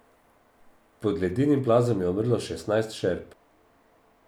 Pod ledenim plazom je umrlo šestnajst šerp.